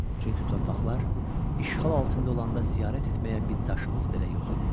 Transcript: Çünki torpaqlar işğal altında olanda ziyarət etməyə bitdaşımız belə yox idi.